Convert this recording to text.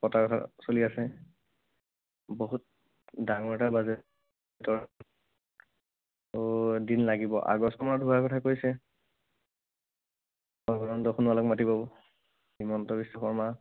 পতাৰ কথা চলি আছে। বহুত ডাঙৰ এটা budget ধৰ ত' দিন লাগিব। আগষ্টমানত হোৱাৰ কথা কৈছে। সৰ্বানন্দ সোণোৱালক মাতিব। হিমন্ত বিশ্ব শৰ্মা।